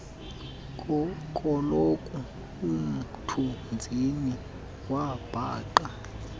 koloku umthunzini wabhaqa